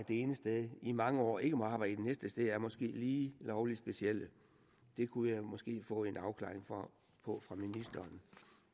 det ene sted i mange år ikke må arbejde det næste sted er måske lige lovlig specielt det kunne jeg måske få en afklaring på fra ministeren